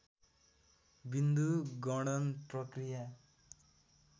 विन्दु गणन प्रक्रिया